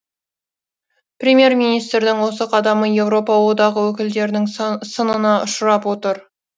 премьер министрдің осы қадамы еуропа одағы өкілдерінің сынына ұшырап отыр